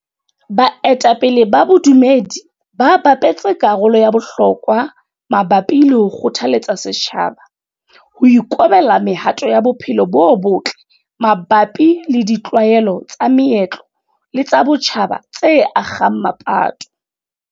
Baetapele ba bodumedi ba bapetse karolo ya bohlokwa mabapi le ho kgothaletsa setjhaba ho ikobela mehato ya bophelo bo botle mabapi le ditlwaelo tsa meetlo le tsa botjhaba tse akgang mapato.